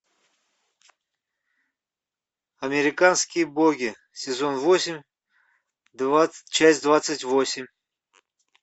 американские боги сезон восемь часть двадцать восемь